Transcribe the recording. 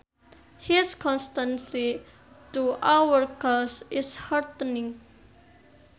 His constancy to our cause is heartening